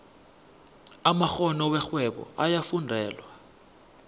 amakgono werhwebo ayafundelwa